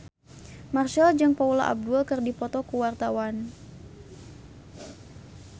Marchell jeung Paula Abdul keur dipoto ku wartawan